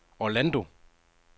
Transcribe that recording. Orlando